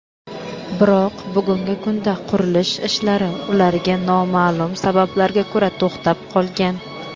biroq bugungi kunda qurilish ishlari ularga nomaʼlum sabablarga ko‘ra to‘xtab qolgan.